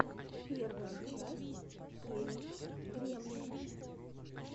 первая часть хелена гремлин